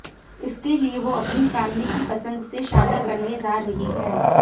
इसके लिए वो अपनी फैमिली की पसंद से शादी करने जा रही हैं